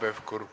Hanno Pevkur.